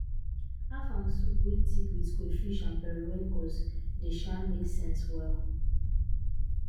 afang soup wey thick with crayfish and periwinkles dey um make sense well